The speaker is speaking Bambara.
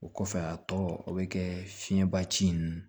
O kɔfɛ a tɔ o bɛ kɛ fiɲɛba ci in